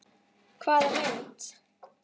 Hvaða mynd?